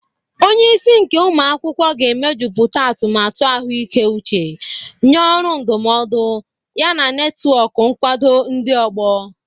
Onye isi nke ụmụ akwụkwọ ga-emejuputa atumatu ahụike uche, nye ọrụ ndụmọdụ, yana netwọk nkwado ndị ọgbọ.